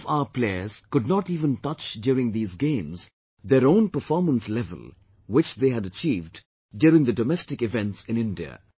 Some of our players could not even touch during these Games their own performance level which they had achieved during the domestic events in India